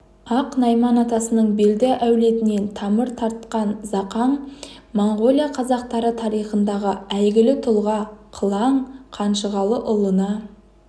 ақ найман атасының белді әулетінен тамыр тартқан зақаң монғолия қазақтары тарихындағы әйгілі тұлға қылаң қанжығалыұлына